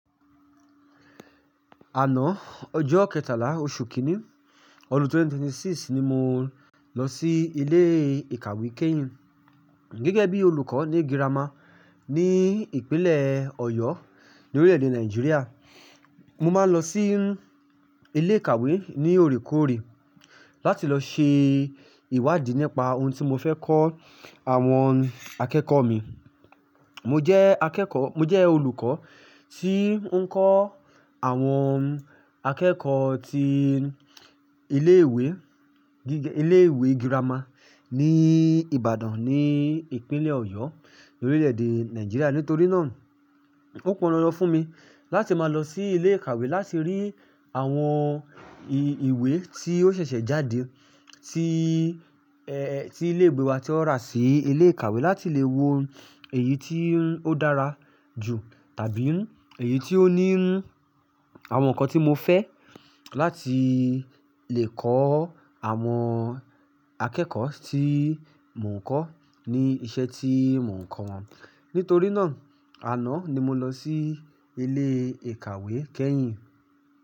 Àná, ọjọ́ kẹtàlá oṣù kínní ọdún 2026 ni mo lọ sí ilé ìkàwé kéyìn. Gẹ́gẹ́ bí olùkọ́ ní girama ní ìpínlẹ̀ Ọ̀yọ́ ni orílẹ̀-èdè Nàìjíríà, mo máa ń lọ sí ilé ìkàwé ní òrékòórè láti lọ ṣe ìwádìí nípa ohun tí mo fẹ́ kọ́ àwọn akẹ́kọ̀ọ́ mi. Mo jẹ́ akẹ́kọ̀ọ́, mo jẹ́ olùkọ́ tí ń kọ́ àwọn akẹ́kọ̀ọ́ ti ilé ìwé, ilé ìwé girama ní Ìbàdàn ní ìpínlẹ̀ Ọ̀yọ́ ni orílẹ̀ èdè Nàìjíríà. Nítorí náà ó pon dandan fún mi láti máa lọ sí ilé ìkàwé láti rí àwọn ìwé tí ó ṣẹ̀ṣẹ̀ jáde tí, ẹ́, tí ilé ìwe wa tí won rà sí ilé ìkàwé láti lè wo èyí tí ó dára jù tàbí èyí tí ó ní àwọn nǹkan tí mo fẹ́ láti lè kọ́ àwọn akẹ́kọ̀ọ́ tí mò ń kọ́ ní iṣẹ́ tí mò ń kọ́ wọn. Nítorí náà àná ni mo lọ sí ilé ìkàwé kéyìn.